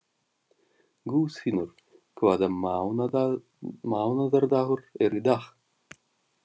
Guðfinnur, hvaða mánaðardagur er í dag?